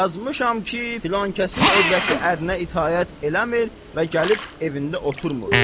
Yazmışam ki, filan kəsin övrəti ərinə itaət eləmir və gəlib evində otumuş.